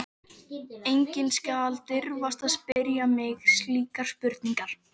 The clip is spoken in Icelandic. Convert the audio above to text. Enginn skal dirfast að spyrja mig slíkra spurninga.